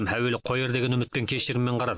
әуелі қояр деген үмітпен кешіріммен қарады